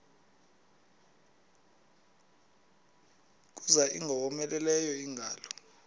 kuza ingowomeleleyo ingalo